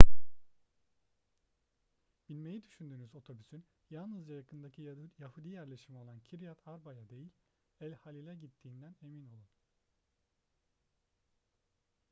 binmeyi düşündüğünüz otobüsün yalnızca yakındaki yahudi yerleşimi olan kiryat arba'ya değil el halil'e gittiğinden emin olun